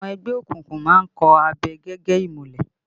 Àwọn ẹgbẹ́ òkùnkùn má ń kọ̀ abẹ gẹ́gẹ́ ìmùlẹ̀